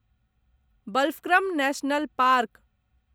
Balphakram national park